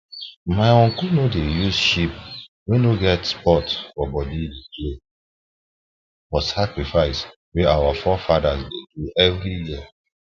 my uncle no dey use sheep wey no get spot for body play for the sacrifice wey our forefathers dey do every year